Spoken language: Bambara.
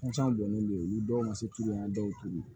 dɔnnin bɛ olu dɔw ma se tulu in na dɔw t'u ye